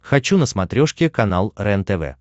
хочу на смотрешке канал рентв